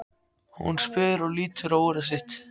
spyr hún og lítur á úrið sitt.